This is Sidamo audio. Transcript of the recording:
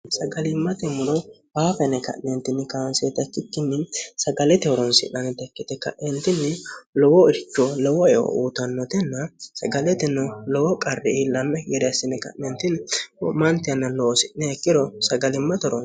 sagali'mate muro haafa yine kaansoonnita ikkikkinni sagalimmate horonsi'nannita ikkite kaeentinni lowo eo uyiitannotenna sagaleteno lowo qarri iillannokki gede assine ka'ne wo'mante yanna loosi'niha ikkiro sagali'mate horonsi'nannite.